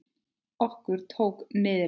Okkur tók niðri!